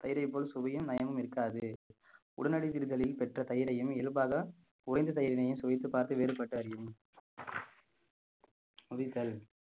தயிரைப் போல் சுவையும் நயமும் இருக்காது உடனடி வீடுகளில் பெற்ற தயிரையும் இயல்பாக உறைந்த தயிரினையும் சுவைத்துப் பார்த்து வேறுபட்டு அறியும்